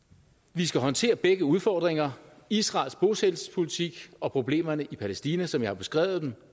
vi skal håndtere begge udfordringer israels bosættelsespolitik og problemerne i palæstina som jeg har beskrevet dem